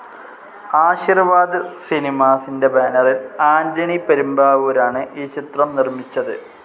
ആശിർവാദ് സിനിമാസിൻ്റെ ബാനറിൽ ആൻ്റണി പെരുമ്പാവൂരാണ് ഈ ചിത്രം നിർമ്മിച്ചത്.